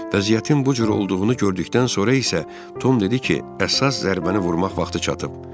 Vəziyyətin bu cür olduğunu gördükdən sonra isə Tom dedi ki, əsas zərbəni vurmaq vaxtı çatıb.